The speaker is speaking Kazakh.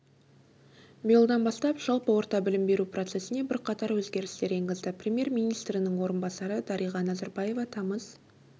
биылдан бастап жалпы орта білім беру процессіне бірқатар өзгерістер енгізді премьер-министрінің орынбасары дариға назарбаева тамыз